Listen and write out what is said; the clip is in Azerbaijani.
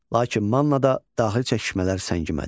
Lakin Mannada daxili çəkişmələr səngimədi.